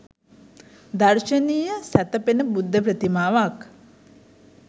දර්ශනීය සැතපෙන බුද්ධ ප්‍රතිමාවක්